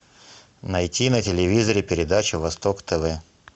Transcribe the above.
найти на телевизоре передачу восток тв